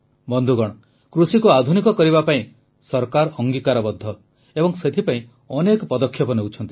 ବନ୍ଧୁଗଣ କୃଷିକୁ ଆଧୁନିକ କରିବା ପାଇଁ ସରକାର ଅଙ୍ଗୀକାରବଦ୍ଧ ଏବଂ ସେଥିପାଇଁ ଅନେକ ପଦକ୍ଷେପ ନେଉଛନ୍ତି